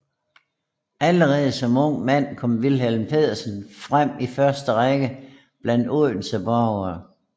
Allerede som ung mand kom Wilhelm Petersen frem i første Række blandt Odense borgere